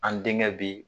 An denkɛ bi